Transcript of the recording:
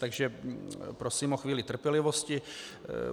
Takže prosím o chvíli trpělivosti.